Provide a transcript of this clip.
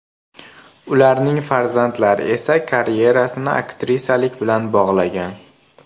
Ularning farzandlari esa karyerasini aktrisalik bilan bog‘lagan.